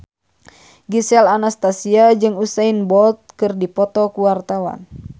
Gisel Anastasia jeung Usain Bolt keur dipoto ku wartawan